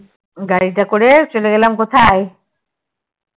গাড়িতে করে চলে গেলাম কোথায়